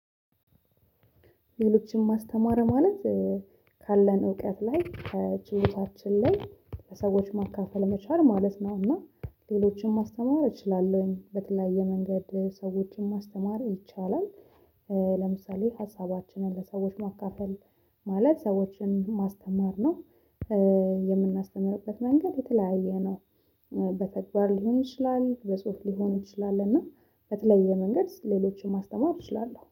ሌሎችን ማስተማር ማለት ካለን እውቀት ላይ ከችሎታችን ላይ ለሰዎች ማካፈል መቻል ማለት ነው። እና ሌሎችንም ማስተማር እችላለሁኝ በተለያየ መንገድ ሰዎችንም ማስተማር ይቻላል። ለምሳሌ ሀሳባችንን ለሰዎች ማካፈል ማለት ሰዎችን ማስተማር ነው። የምናስተምርበት መንገድ የተለያየ ነው። በተግባር ሊሆን ይችላል በጽሁፍ ሊሆን ይችላል እና በተለየ መንገድ ሌሎችን ማስተማር እችላለሁ